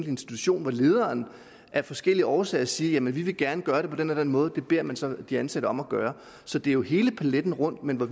institution hvor lederen af forskellige årsager siger jamen vi vil gerne gøre det på den og den måde det beder man så de ansatte om at gøre så det er jo hele paletten rundt men vi